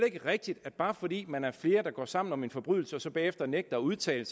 ikke rigtigt at bare fordi man er flere der går sammen om en forbrydelse og så bagefter nægter at udtale